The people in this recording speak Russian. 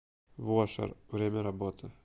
вошер время работы